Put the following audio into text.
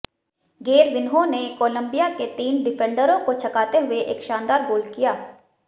Gervinho ने Colombia के तीन डिफेंडरों को छकाते हुए एक शानदार गोल किया